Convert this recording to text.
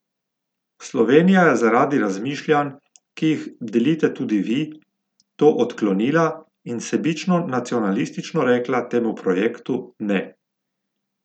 Slovenija je zaradi razmišljanj, ki jih delite tudi vi, to odklonila in sebično nacionalistično rekla temu projektu ne.